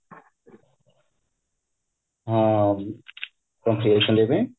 ହଁ କେମତି ଅଛନ୍ତି ଏବେ